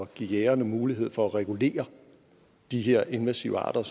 give jægerne mulighed for at regulere de her invasive arter